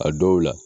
A dɔw la